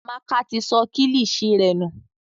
Amaka ti sọ kilishi rẹ nù.